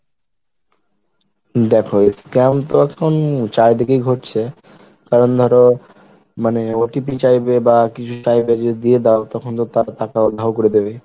দেখো scam তো এখন চারিদিকেই ঘুরছে কারণ ধরো মানে OTP চাইবে বা কিছু চাইবে এর যদি দিয়ে দাও তখন তো তার টাকা উধাও করে দেবে।